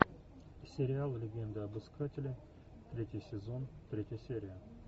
сериал легенда об искателе третий сезон третья серия